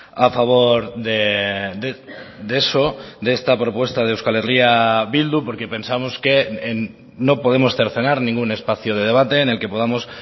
a favor de eso de esta propuesta de euskal herria bildu porque pensamos que no podemos cercenar ningún espacio de debate en el que podamos